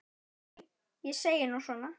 Nei, ég segi nú svona.